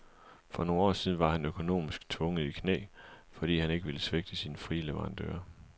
For nogle år siden var han økonomisk tvunget i knæ, fordi han ikke ville svigte sine frie leverandører.